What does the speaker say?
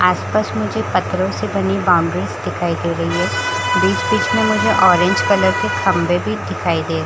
आस पास मुझे पत्थरो से बानी बॉउंडरीस दिखाई दे रही है बीच बीच में मुझे ऑरेंज कलर के खम्बे भी दिखाई दे --